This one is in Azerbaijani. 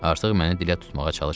Artıq məni dilə tutmağa çalışmırdı.